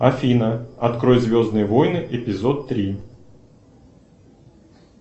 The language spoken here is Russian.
афина открой звездные войны эпизод три